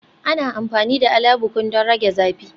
Ana amfani da Alabukun don rage zafi